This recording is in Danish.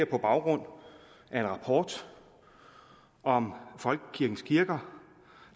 på baggrund af en rapport om folkekirkens kirker